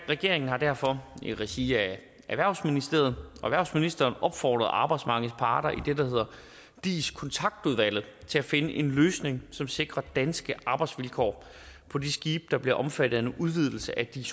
regeringen har derfor i regi af erhvervsministeriet og erhvervsministeren opfordret arbejdsmarkedets parter i det der hedder dis kontaktudvalget til at finde en løsning som sikrer danske arbejdsvilkår på de skibe der bliver omfattet af en udvidelse af dis